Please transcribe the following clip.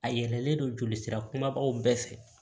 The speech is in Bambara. A yɛlɛlen don jolisira kumabaw bɛɛ fɛ